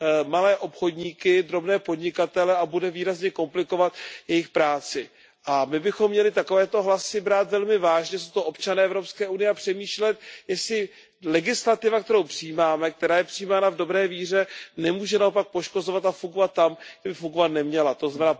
malé obchodníky, drobné podnikatele a bude výrazně komplikovat jejich práci. A my bychom měli takovéto hlasy brát velmi vážně, jsou to občané EU, a přemýšlet, jestli legislativa, kterou přijímáme, která je přijímána v dobré víře, nemůže naopak poškozovat a fungovat tam, kde by fungovat neměla, tzn.